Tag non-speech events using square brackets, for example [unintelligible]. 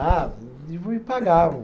Ah, [unintelligible] e pagavam.